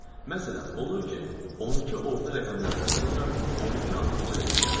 Məsələn, olur ki, 12 orta rəqəmlərdən sonra 12 axırıncı rəqəm gəlir.